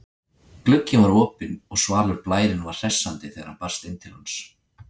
Glugginn var opinn og svalur blærinn var hressandi þegar hann barst inn til hans.